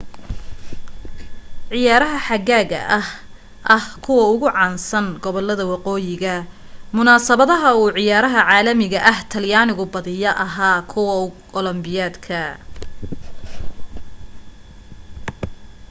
ciyaarha xagaaga ahaa ah kuwa ugu caansan gobolada waqooyiga munasabadaha uu ciyaaraha caalamiga ah talyaanigu badiya ahaa ah kuwa olombobikada